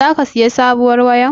Zaka sayi sabuwar wayar?